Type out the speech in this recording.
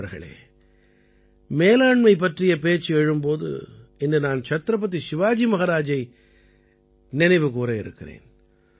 நண்பர்களே மேலாண்மை பற்றிப் பேச்சு எழும் போது இன்று நான் சத்ரபதி சிவாஜி மஹாராஜை நினைவு கூர இருக்கிறேன்